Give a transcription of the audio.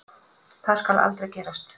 Það skal aldrei gerast.